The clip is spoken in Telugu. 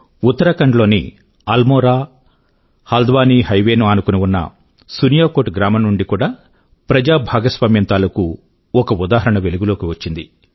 ఉత్తరాఖండ్ లోని అల్మోరా హల్ద్వానీ హైవే ను ఆనుకుని ఉన్న సునియాకోట్ గ్రామం నుండి కూడా ప్రజా భాగస్వామ్యం తాలూకూ ఒక ఉదాహరణ వెలుగు లోకి వచ్చింది